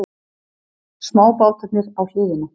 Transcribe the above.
Smábátarnir á hliðina.